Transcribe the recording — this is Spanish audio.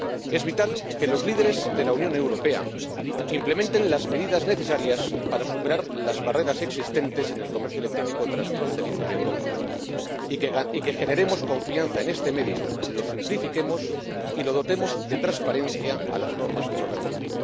Es vital que los líderes de la Unión Europea implementen las medidas necesarias para superar las barreras existentes en el comercio electrónico transfronterizo en Europa y que generemos confianza en este medio, lo simplifiquemos y dotemos de transparencia a las normas que lo regulan.